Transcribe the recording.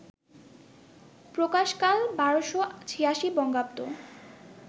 প্রকাশকাল ১২৮৬ বঙ্গাব্দ